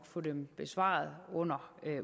få dem besvaret under